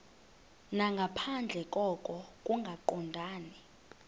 nangaphandle koko kungaqondani